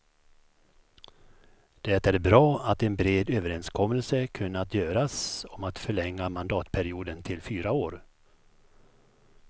Det är bra att en bred överenskommelse kunnat göras om att förlänga mandatperioden till fyra år.